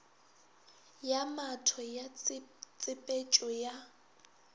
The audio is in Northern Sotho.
ya matho ya tsepetšo ya